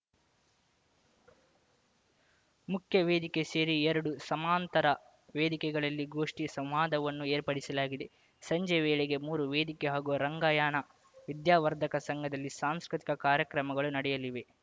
ಮುಖ್ಯವೇದಿಕೆ ಸೇರಿ ಎರಡು ಸಮಾಂತರ ವೇದಿಕೆಗಳಲ್ಲಿ ಗೋಷ್ಠಿ ಸಂವಾದವನ್ನು ಏರ್ಪಡಿಸಲಾಗಿದೆ ಸಂಜೆ ವೇಳೆಗೆ ಮೂರು ವೇದಿಕೆ ಹಾಗೂ ರಂಗಾಯಣ ವಿದ್ಯಾವರ್ಧಕ ಸಂಘದಲ್ಲಿ ಸಾಂಸ್ಕೃತಿಕ ಕಾರ್ಯಕ್ರಮಗಳು ನಡೆಯಲಿವೆ